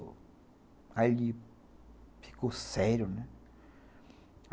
Aí ele ficou sério, né.